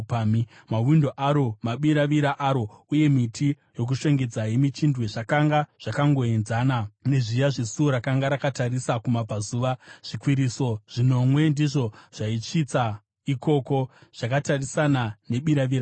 Mawindo aro, mabiravira aro uye miti yokushongedza yemichindwe, zvakanga zvakangoenzana nezviya zvesuo rakanga rakatarisa kumabvazuva. Zvikwiriso zvinomwe ndizvo zvaisvitsa ikoko, zvakatarisana nebiravira racho.